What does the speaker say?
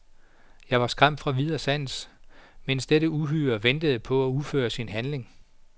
Jeg var skræmt fra vid og sans, mens dette uhyre ventede på at udføre sin handling.